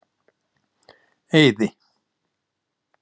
Eiði